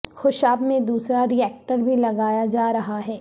خوشاب میں دوسرا reactor بھی لگایا جا رہا ہے